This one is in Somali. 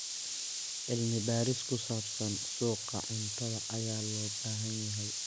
Cilmi-baaris ku saabsan suuqa cuntada ayaa loo baahan yahay.